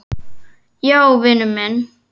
Já, vinur minn.